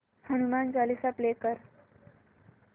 Hanuman Chalisa play कर